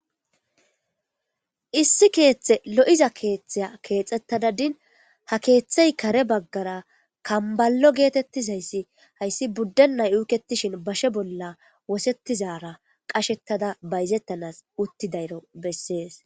issi keeththe lo7iza keeththea keexxettadadin ha keeththey kare baggara kambalo geetettizayssi hayssi buddennay uuketishin bashe bolla wosettizara qashettada bayzettanas uttidayro bessees